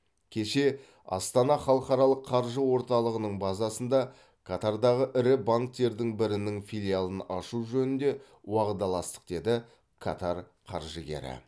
кеше астана халықаралық қаржы орталығының базасында катардағы ірі банктердің бірінің филиалын ашу жөнінде уағдаластық деді катар қаржыгері